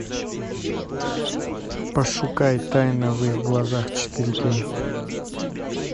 пошукай тайна в их глазах четыре кей